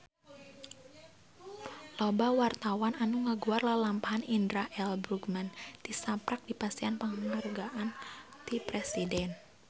Loba wartawan anu ngaguar lalampahan Indra L. Bruggman tisaprak dipasihan panghargaan ti Presiden